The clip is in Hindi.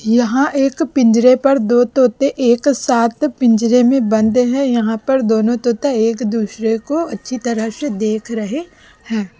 यहां एक पिंजरे पर दो तोते एक साथ पिंजरे में बंदे हैं यहां पर दोनों तोता एक दूसरे को अच्छी तरह से देख रहे हैं।